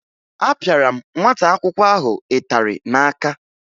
Apịara m nwata akwụkwọ ahụ ịtarị n'aka